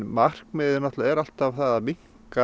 markmiðið er alltaf það að minnka